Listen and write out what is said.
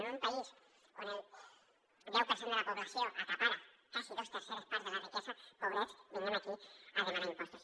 en un país on el deu per cent de la població acapara quasi dos terceres parts de la riquesa pobrets que vinguem aquí a demanar impostos